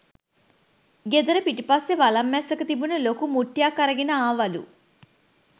ගෙදර පිටිපස්සෙ වලං මැස්සක තිබුන ලොකු මුට්ටියක් අරගෙන ආවලු